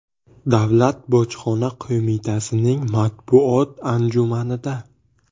Davlat bojxona qo‘mitasining matbuot anjumanida.